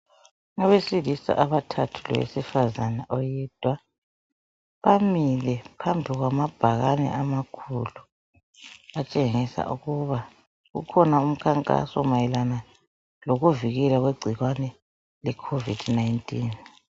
Abesilisa abathathu lowesifazana oyedwa. Bamile phambi kwamabhakani amakhulu. Atshengisa ukuba kukhona umkhankaso mayelana lokuvikelwa kwegcikwane leCovid 19.